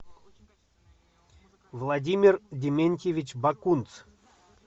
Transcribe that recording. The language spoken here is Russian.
владимир дементьевич бакунц